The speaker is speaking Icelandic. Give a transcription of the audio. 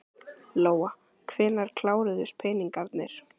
Lóa: Hvenær kláruðust peningarnir?